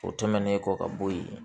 O tɛmɛnen kɔ ka bɔ yen